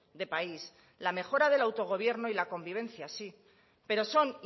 de país la mejora del autogobierno y la convivencia sí pero son